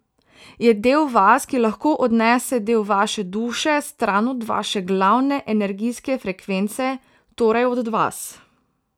Je del vas, ki lahko odnese del vaše duše stran od vaše glavne energijske frekvence, torej od vas.